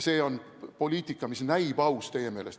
See on poliitika, mis näib teie meelest aus.